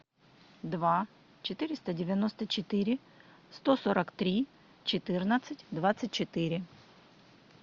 два четыреста девяносто четыре сто сорок три четырнадцать двадцать четыре